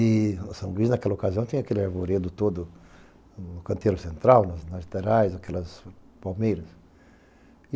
E a São Luís, naquela ocasião, tinha aquele arvoredo todo no canteiro central, nas laterais, naquelas palmeiras.